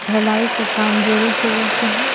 ढलाई का काम जोरो सोरो से हे.